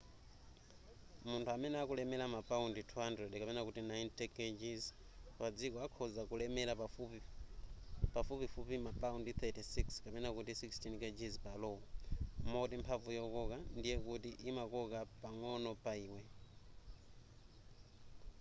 munthu amene akulemera mapaundi 200 90kg pa dziko akhonza kulemera pafupifupi ma paundi 36 16kg pa lo.moti mphamvu yokoka ndiye kuti imakoka pang'ono pa iwe